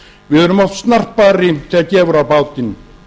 við erum oft snarpari þegar gefur á bátinn